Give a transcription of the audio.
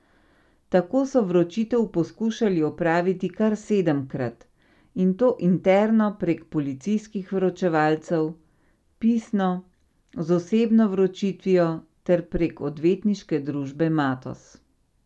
Tako so vročitev poskušali opraviti kar sedemkrat, in to interno prek policijskih vročevalcev, pisno, z osebno vročitvijo ter prek odvetniške družbe Matoz.